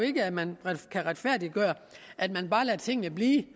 ikke at man kan retfærdiggøre at man bare lader tingene blive